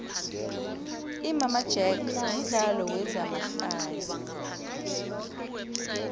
imama jack mudlalo wezama hlaya